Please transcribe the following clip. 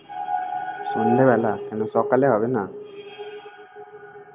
সন্ধ্যেবেলা! কেনো সকালে হবে না!